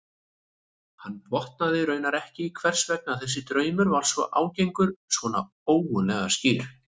Hann botnaði raunar ekki í hvers vegna þessi draumur var svona ágengur, svona ógurlega skýr.